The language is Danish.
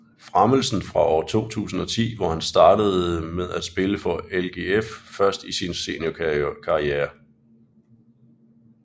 Fremelsen fra år 2010 hvor han startede med at spille for LGF først i sin seniorkarriere